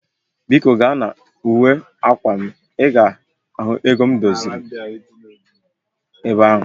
Biko gaa na uwe akwa m, i ga ego m dosara ebe ahu